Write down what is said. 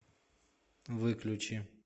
выключи